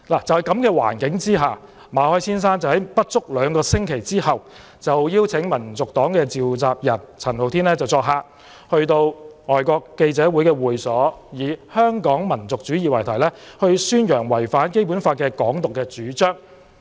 在這樣的情況之下，馬凱先生在不足兩星期之後，邀請民族黨召集人陳浩天作客，在香港外國記者會的會所以"香港民族主義"為題，宣揚違反《基本法》的"港獨"主張。